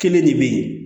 Kelen de bɛ yen